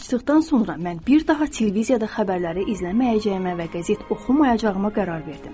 Sirri açdıqdan sonra mən bir daha televiziyada xəbərləri izləməyəcəyimə və qəzet oxumayacağıma qərar verdim.